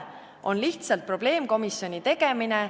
On lihtsalt probleemkomisjoni tegemine.